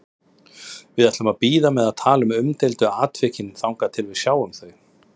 Við ætlum að bíða með að tala um umdeildu atvikin þangað til við sjáum þau.